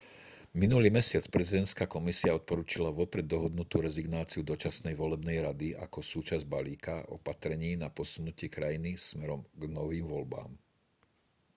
minulý mesiac prezidentská komisia odporučila vopred dohodnutú rezignáciu dočasnej volebnej rady ako súčasť balíka opatrení na posunutie krajiny smerom k novým voľbám